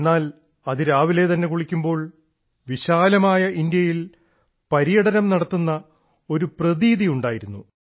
എന്നാൽ അതിരാവിലെ തന്നെ കുളിക്കുമ്പോൾ വിശാലമായ ഇന്ത്യയിൽ പര്യടനം നടത്തുന്ന ഒരു പ്രതീതി ഉണ്ടായിരുന്നു